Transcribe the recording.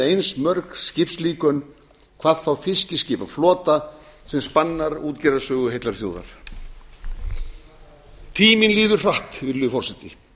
eins mörg skipslíkön hvað þá fiskiskipaflota sem spannar útgerðarsögu heillar þjóðar tíminn líður hratt virðulegi forseti